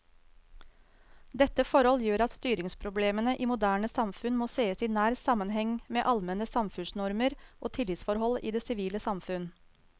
Dette forhold gjør at styringsproblemene i moderne samfunn må sees i nær sammenheng med allmenne samfunnsnormer og tillitsforhold i det sivile samfunn.